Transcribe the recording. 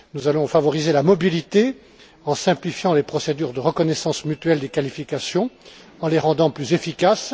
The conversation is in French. Nous allons favoriser la mobilité en simplifiant les procédures de reconnaissance mutuelle des qualifications, en les rendant plus efficaces.